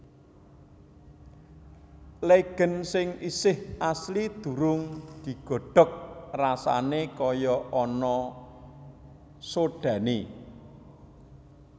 Legèn sing isih asli durung digodhog rasané kaya ana sodhané